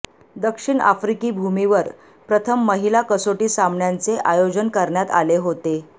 दक्षिण आफ्रिकी भूमीवर प्रथम महिला कसोटी सामन्यांचे आयोजन करण्यात आले होते